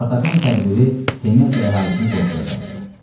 Spartakın tədbiri Temesa əhalisini qorxuya saldı.